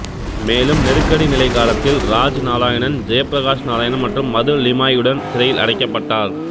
மேலும் நெருக்கடி நிலை காலத்தில் ராஜ் நாராயணன் ஜெயப்பிரகாஷ் நாராயணன் மற்றும் மது லிமாயியுடன் சிறையில் அடைக்கப்பட்டார்